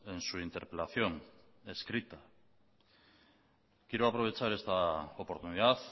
en su interpelación escrita quiero aprovechar esta oportunidad